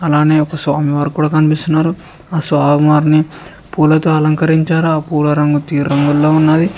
అలానే ఒక స్వామివారు కూడ కనిపిస్తున్నారు ఆ స్వామివారిని పూలతో అలంకరించారు ఆ పూల రంగు తేరు రంగులో ఉన్నది.